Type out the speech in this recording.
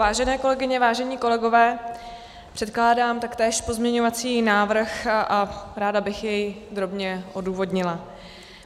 Vážené kolegyně, vážení kolegové, předkládám taktéž pozměňovací návrh a ráda bych jej drobně odůvodnila.